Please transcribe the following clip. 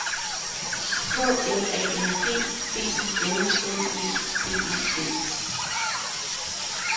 K L A N G B I L L E D E T